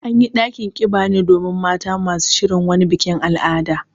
An yi ɗakin ƙiba ne domin mata masu shirin wani bikin al'ada.